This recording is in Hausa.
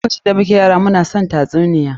Lokacin da muke yara, mu na son tatsuniya sosai.